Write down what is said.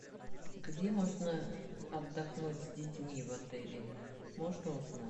где можно отдохнуть с детьми в отеле можно узнать